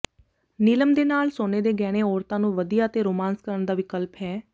ਨੀਲਮ ਦੇ ਨਾਲ ਸੋਨੇ ਦੇ ਗਹਿਣੇ ਔਰਤਾਂ ਨੂੰ ਵਧੀਆ ਅਤੇ ਰੋਮਾਂਸ ਕਰਨ ਦਾ ਵਿਕਲਪ ਹੈ